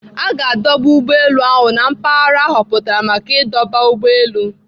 Aga adoba ụgbọelu ahụ na mpaghara ahọpụtara maka ịdọba ụgbọelu.